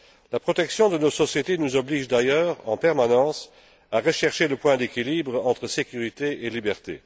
La protection de nos sociétés nous oblige d'ailleurs en permanence à rechercher le point d'équilibre entre sécurité et liberté.